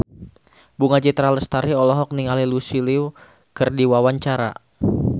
Bunga Citra Lestari olohok ningali Lucy Liu keur diwawancara